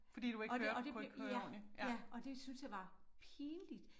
Og det og det ja ja og det syntes jeg var pinligt